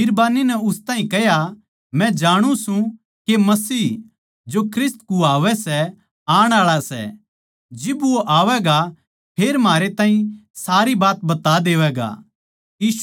बिरबान्नी नै उस ताहीं कह्या मै जांणु सूं के मसीह जो ख्रिस्त कुहावै सै आण आळा सै जिब वो आवैगा फेर म्हारै ताहीं सारी बात बता देवैगा